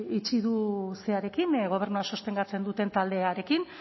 itxi du zerarekin gobernua sostengatzen duten taldearekin